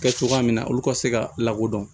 Kɛ cogoya min na olu ka se ka lakodɔn